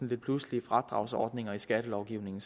lidt pludselige fradragsordninger i skattelovgivningen